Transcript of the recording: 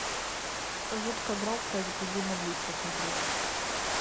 жутко громко и запредельно близко смотреть